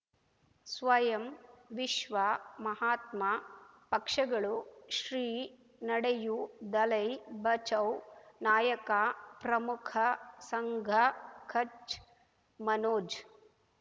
ಸ್ವಯಂ ವಿಶ್ವ ಮಹಾತ್ಮ ಪಕ್ಷಗಳು ಶ್ರೀ ನಡೆಯೂ ದಲೈ ಬಚೌ ನಾಯಕ ಪ್ರಮುಖ ಸಂಘ ಕಚ್ ಮನೋಜ್